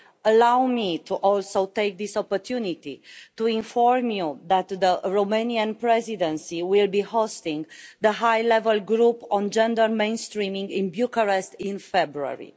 Allow me, also, to take this opportunity to inform you that the Romanian Presidency will be hosting the High-Level Group on Gender Mainstreaming in Bucharest in February.